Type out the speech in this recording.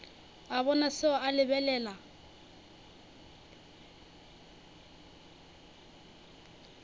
a bona seo a lebelela